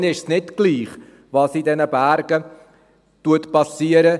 Ihnen ist es nicht egal, was in den Bergen geschieht;